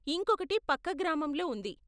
ఇంకొకటి పక్క గ్రామంలో ఉంది.